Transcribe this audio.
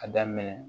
A daminɛ